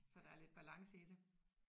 Så der er lidt balance i det